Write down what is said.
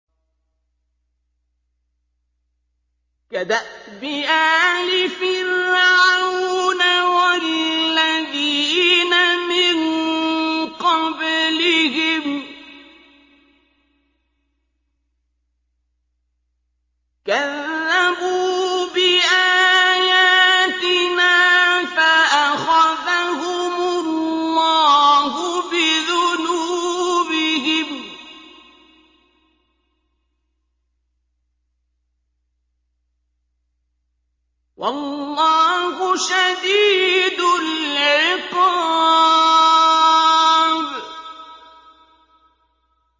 كَدَأْبِ آلِ فِرْعَوْنَ وَالَّذِينَ مِن قَبْلِهِمْ ۚ كَذَّبُوا بِآيَاتِنَا فَأَخَذَهُمُ اللَّهُ بِذُنُوبِهِمْ ۗ وَاللَّهُ شَدِيدُ الْعِقَابِ